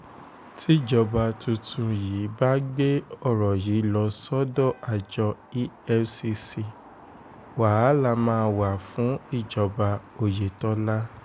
tíjọba tuntun yìí bá gbé um ọ̀rọ̀ yìí lọ sọ́dọ̀ àjọ efcc um wàhálà máa wà fún ìjọba oyetola